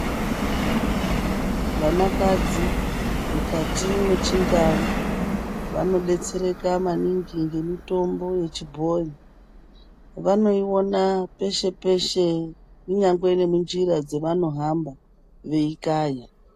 Vanakadzi mukati mwechindau vanodetsereka maningi ngemitombo yechibhoyi. Vanoiona peshe peshe kunyangwe nemunjira dzevanohamba veikaya.